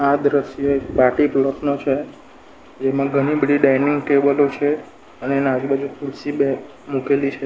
આ દ્રશ્ય એક પાર્ટી પ્લોટ નો છે જેમાં ઘણી બધી ડાઇનિંગ ટેબલો છે અને એના આજુબાજુ ખુરશી બે મુકેલી છે.